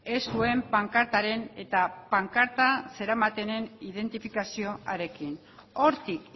ez zuen pankartaren eta pankarta zeramatenen identifikazioarekin hortik